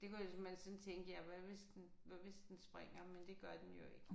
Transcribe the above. Det kunne jeg man sådan tænke ja hvad hvis den hvad hvis den springer men det gør den jo ikke